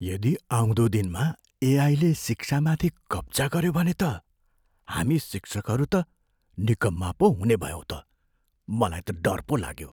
यदि आउँदो दिनमा एआईले शिक्षामाथि कब्जा गऱ्यो भने त हामी शिक्षकहरू त निकम्मा पो हुनेभयौँ त। मलाई त डर पो लाग्यो।